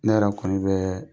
Ne yɛrɛ kɔni bɛ,